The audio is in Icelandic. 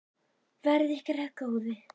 Verði ykkur að góðu.